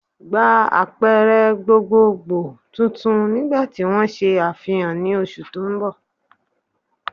Gba àpẹrẹ gbogboogbo tuntun nígbàtí wọn ṣe àfihàn ní oṣù ti ń bọ̀